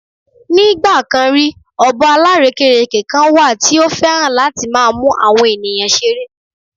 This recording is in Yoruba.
Nigba kan rí, ọ̀bọ alárèékérekè kan wà tí ó fẹ́ràn láti máa mú awon ènìyàn ṣeré.